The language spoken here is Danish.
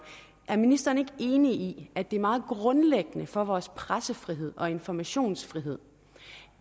er ministeren ikke enig i at det er meget grundlæggende for vores pressefrihed og informationsfrihed